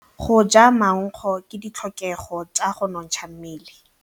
Go ja maungo ke ditlhokegô tsa go nontsha mmele.